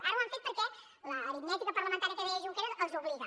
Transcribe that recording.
ara ho han fet perquè l’aritmètica parlamentària que deia junqueras els hi obliga